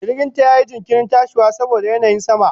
Jirginta yayi jinkirin tashiwa saboda yanayin sama.